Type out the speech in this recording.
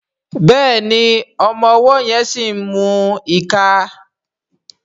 Béèni ọmọ ọwó yén sí mú ìká.